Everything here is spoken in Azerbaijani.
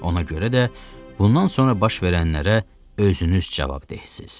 Ona görə də bundan sonra baş verənlərə özünüz cavabdehsiz.